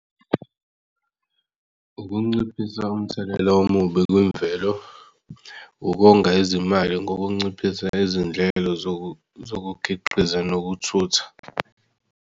Ukunciphisa umthelela omubi kwimvelo ukonga izimali ngokunciphisa izindlela zokukhiqiza nokuthutha.